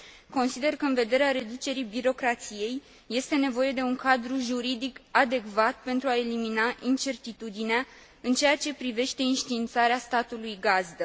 Consider că, în vederea reducerii birocrației, este nevoie de un cadru juridic adecvat pentru a elimina incertitudinea în ceea ce privește înștiințarea statului gazdă.